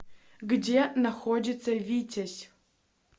где находится витязь